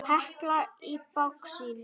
Hekla í baksýn.